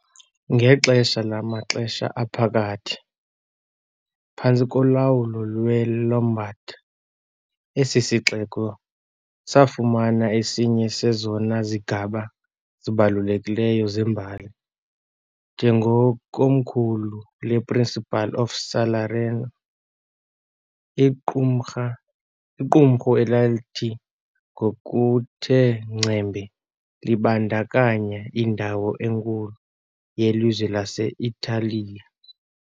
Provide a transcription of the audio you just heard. Ngexesha lamaXesha aPhakathi, phantsi kolawulo lweLombard, esi sixeko safumana esinye sezona zigaba zibalulekileyo zembali njengekomkhulu lePrincipal of Salerno, iqumrha iqumrhu elathi ngokuthe ngcembe libandakanya indawo enkulu yelizwe lase-Italiya .